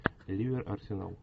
ливер арсенал